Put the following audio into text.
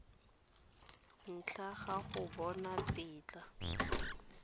ntle ga go bona tetla